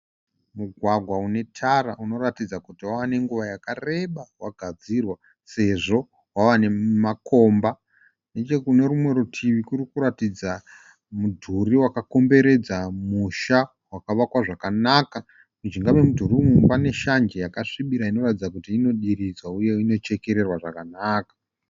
Mugwagwa une tara inoratidza kuti wava nenguva yakareba wagadzirwa sezvo wava nemakomba. Nechekunze rumwe rutivi kunoratidza kuti kune mudhuri wakakomberedza musha wakavakwa zvakanaka. Mujinga memudhuri uyu mune shanje yakasvibira inoratidza kuti inodiridzwa iye inochekererwa zvakanaka.